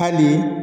Hali